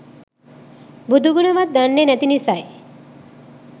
බුදුගුණ වත් දන්නේ නැති නිසයි.